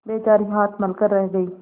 बेचारी हाथ मल कर रह गयी